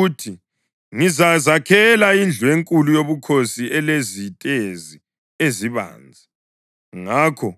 Uthi, ‘Ngizazakhela indlu enkulu yobukhosi elezitezi ezibanzi.’ Ngakho